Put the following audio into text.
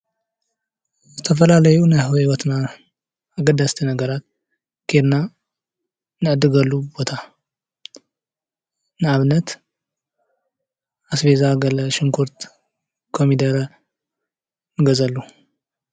ዝተፈላለዩ ናይ ሂወትና አገደስቲ ነገራት ኬድና እንዕድገሉ ቦታ ንኣብነት ኣስቤዛ ገለ ሽጉርቲ ፣ ኮሚደረ ንገዝኣሉ።